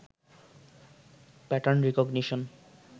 pattern recognition